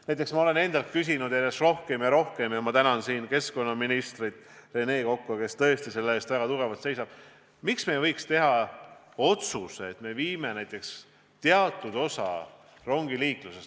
Näiteks olen ma endalt järjest rohkem ja rohkem küsinud – ja ma tänan siin keskkonnaminister Rene Kokka, kes selle eest väga tugevasti seisab –, et miks ei võiks me otsustada, et viime teatud osa rongiliiklusest vesiniktehnoloogia peale.